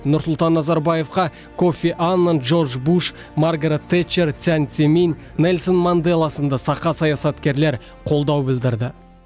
нұрсұлтан назарбаевқа кофи аннан джордж буш маргарэт тэтчер цзян цземинь нельсон манделла сынды сақа саясаткерлер қолдау білдірді